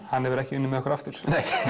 hann hefur ekki unnið með okkur aftur